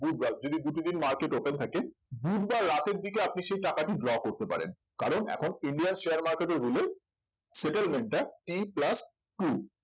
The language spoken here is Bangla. বুধবার যদি দুটো দিন market open থাকে বুধবার রাতের দিকে আপনি সেই টাকাটি draw করতে পারেন কারণ এখন indian share market rule settlemant টা t plus two